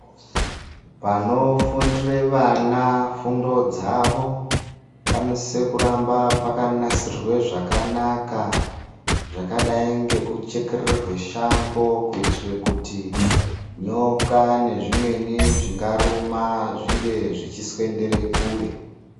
Panofundire vana fundodzavo, panosise kuramba pakanasirwe zvakanaka, zvakadai ngekuchekeredzwe shango kuitire kuti nyoka nezvimweni zvingaruma zvinge zvichisvendere kure.